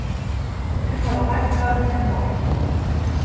Allir hafa hækkað nema Orkan